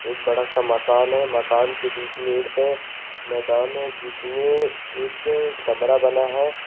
एक बड़ा सा मकान है मकान के बीच में एक मैदान है जिसमें एक कमरा बना हैं।